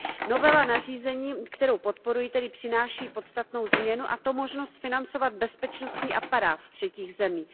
Novela nařízení, kterou podporuji, tedy přináší podstatnou změnu, a to možnost financovat bezpečnostní aparát třetích zemí.